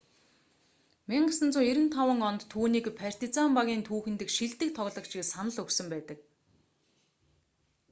1995 онд түүнийг партизан багийн түүхэн дэх шилдэг тоглогч гэж санал өгсөн байдаг